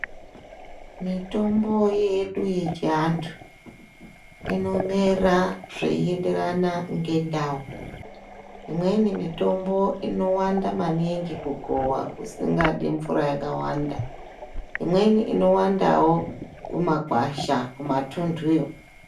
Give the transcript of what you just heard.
Mitombo yedu yechianthu, inomera zveienderana ngendau. Imweni mitombo inowanda maningi kugowa kusingadi mvura yakawanda. Imweni inowandawo kumagwasha kumatunthuyo.